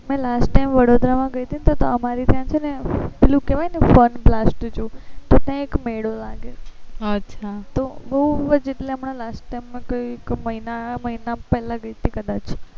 મેં last time Vadodara ગયી હતી ને તો અમારે ત્યાં છે ને પેલું કેવાય fun glass zoo તો ત્યા એક મેળો લાગે અચ્છા તો બહુ જ એટલા હમણાં last time ગયી કઇક મહિના મહિના પેહલા ગયી કાદચ